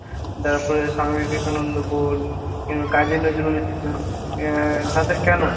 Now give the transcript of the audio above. বা তোর স্বামী বিবেকানন্দ বল, কাজী নজরুল ইসলাম আহ তাদের কেন ?